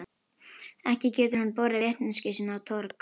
Ekki getur hann borið vitneskju sína á torg.